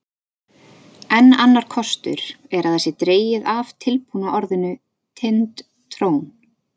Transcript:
Enn annar kostur er að það sé dregið af tilbúna orðinu Tind-trón.